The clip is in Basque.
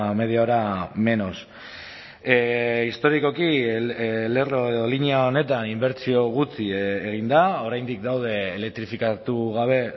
media hora menos historikoki lerro edo linea honetan inbertsio gutxi egin da oraindik daude elektrifikatu gabe